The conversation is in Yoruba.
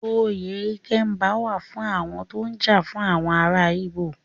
Oyè Ikemba wà á fún àwọn tó ń jà fún àwọn ará Íbò.